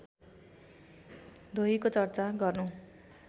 धोयीको चर्चा गर्नु